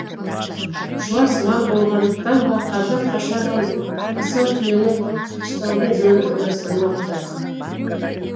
жуас мал болғандықтан ба қазақ қашаған асау түйені ұстаудың жөнін ойластырмапты